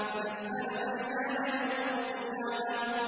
يَسْأَلُ أَيَّانَ يَوْمُ الْقِيَامَةِ